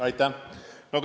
Aitäh!